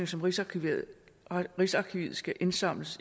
som rigsarkivet rigsarkivet skal indsamle